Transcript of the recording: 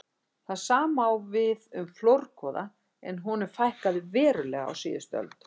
Það sama á við um flórgoða en honum fækkaði verulega á síðustu öld.